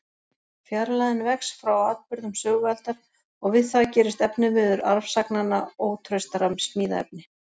Fjarlægðin vex frá atburðum sögualdar, og við það gerist efniviður arfsagnanna ótraustara smíðaefni.